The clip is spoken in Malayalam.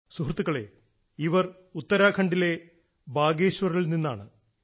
സുഹൃത്തുക്കളേ ഇവർ ഉത്തരാഖണ്ഡിലെ ബാഗേശ്വറിൽ നിന്നുമാണ്